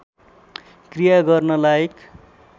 क्रिया गर्न लायक